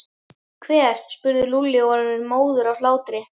Hver? spurði Lúlli og var orðinn móður af hlátri.